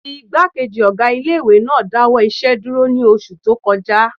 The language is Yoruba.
Ìgbákejì ọgá ilé-ìwé náà dáwọ́ iṣẹ́ dúró ní oṣù tó kọjá